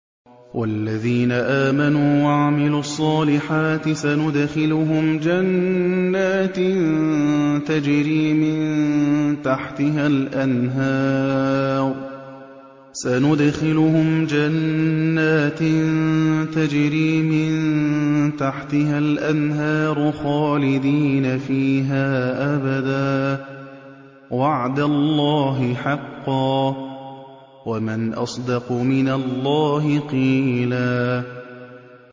وَالَّذِينَ آمَنُوا وَعَمِلُوا الصَّالِحَاتِ سَنُدْخِلُهُمْ جَنَّاتٍ تَجْرِي مِن تَحْتِهَا الْأَنْهَارُ خَالِدِينَ فِيهَا أَبَدًا ۖ وَعْدَ اللَّهِ حَقًّا ۚ وَمَنْ أَصْدَقُ مِنَ اللَّهِ قِيلًا